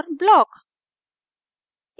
4 block